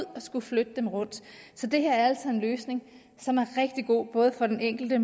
og skulle flytte dem rundt så det her er altså en løsning som er rigtig god både for den enkelte